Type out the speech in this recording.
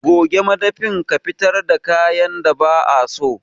Goge madafin ka kuma fitar da kayan da ba'a so.